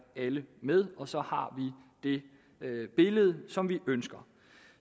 med og så har vi det billede som vi ønsker